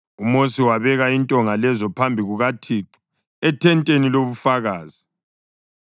UMosi wabeka intonga lezo phambi kukaThixo ethenteni lobufakazi.